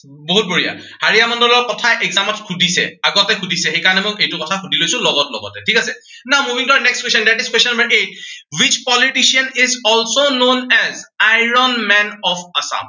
বহুত বঢ়িয়া। হাড়িয়া মণ্ডলৰ কথা exam ত সুধিছে। আগতে সুধিছে, সেই কাৰনে মই সেইটো কথা সুধি লৈছো লগত লগত। ঠিক আছে, Now, moving to our next question, that is question number eight. Which politician is also known an iron man of Assam